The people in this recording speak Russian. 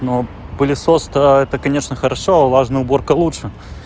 ну пылесос то это конечно хорошо а влажная уборка лучше